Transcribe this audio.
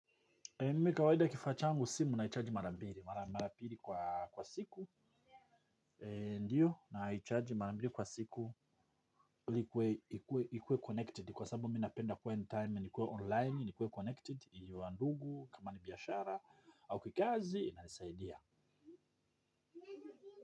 Mimi kawaida kifaa changu simu naicharge mara mbili. Marambiri kwa siku. Ndio, naicharg mara mbili kwa siku ili ikue kwa sababu mimi napenda kuwa in time ni kiwa online ni kiwa connected. Ili mandugu, kama ni biashara au kikazi nasaidia.